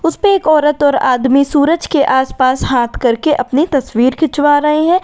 उसपे एक औरत और आदमी सूरज के आस पास हाथ करके अपनी तस्वीर खिंचवा रहे हैं।